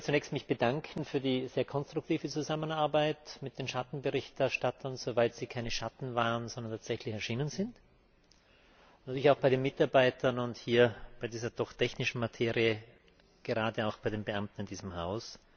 Trotzdem möchte ich mich zunächst mal bedanken für die sehr konstruktive Zusammenarbeit mit den Schattenberichterstattern, soweit sie keine Schatten waren, sondern tatsächlich erschienen sind, natürlich auch bei den Mitarbeitern und hier bei dieser doch technischen Materie gerade auch bei den Beamten in diesem Haus.